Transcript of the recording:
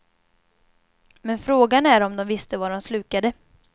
Men frågan är om de visste vad de slukade.